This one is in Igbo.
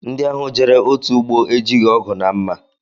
Ndị ahụ jere otu ụgbọ ejighị ọgụ na mma